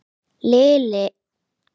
Liðið skipa þeir